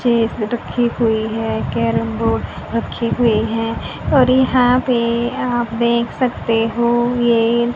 chess रखी हुई है कैरम बोर्ड रखी हुई हैं और यहां पे आप देख सकते हो ये--